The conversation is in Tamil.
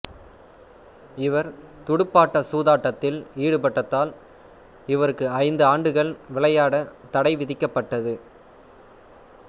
இவர் துடுப்பாட்ட சூதாட்டத்தில் ஈடுபட்டதால் இவருக்கு ஐந்து ஆண்டுகள் விளையாடத் தடை விதிக்கப்பட்டது